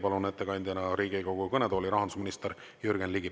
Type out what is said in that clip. Palun ettekandeks Riigikogu kõnetooli rahandusminister Jürgen Ligi.